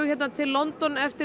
til London eftir